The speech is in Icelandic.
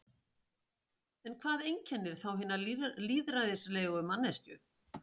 En hvað einkennir þá hina lýðræðislegu manneskju?